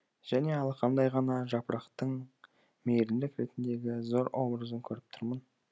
және алақандай ғана жапырақтың мейірімділік ретіндегі зор образын көріп тұрмын